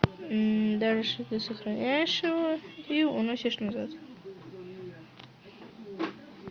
дальше ты сохраняешь его и уносишь назад